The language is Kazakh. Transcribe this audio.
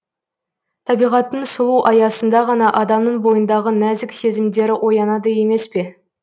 табиғаттың сұлу аясында ғана адамның бойындағы нәзік сезімдері оянады емес пе